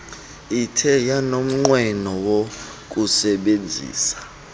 ithe yanomnqweno wokusebenzisa